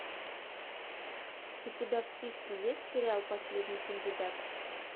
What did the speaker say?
у тебя в списке есть сериал последний кандидат